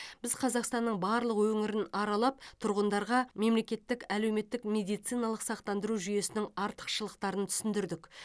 біз қазақстанның барлық өңірін аралап тұрғындарға мемлекеттік әлеуметтік медициналық сақтандыру жүйесінің артықшылықтарын түсіндірдік